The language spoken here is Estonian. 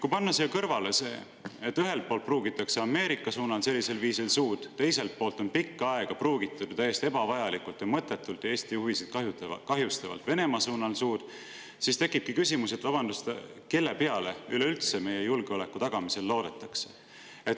Kui panna selle kõrvale, et Ameerika suunal pruugitakse sellisel viisil suud, see, et pikka aega on pruugitud ju täiesti ebavajalikult ja mõttetult Eesti huvisid kahjustavalt suud Venemaa suunal, siis tekibki küsimus, et vabandust, aga kelle peale meie julgeoleku tagamisel üleüldse loodetakse.